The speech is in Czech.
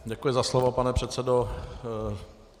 Děkuji za slovo, pane předsedo.